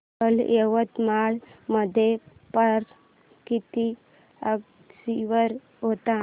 काल यवतमाळ मध्ये पारा किती अंशावर होता